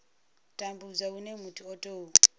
tambudzwa hune muthu a tou